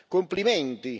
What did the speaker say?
Complimenti!